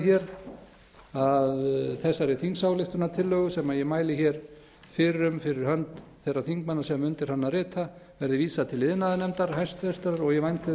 hér að þessari þingsályktunartillögu sem ég mæli hér fyrir um fyrir hönd þeirra þingmanna sem undir hana rita verði vísað til iðnaðarnefndar hæstvirtur og ég vænti þess að þar